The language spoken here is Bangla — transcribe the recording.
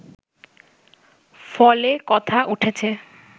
ফলে কথা উঠেছে